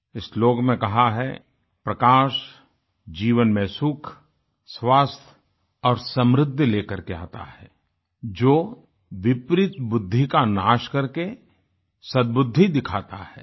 इस श्लोक में कहा है प्रकाश जीवन में सुख स्वास्थ्य और समृद्धि लेकर के आता है जो विपरीत बुद्धि का नाश करके सदबुद्धि दिखाता है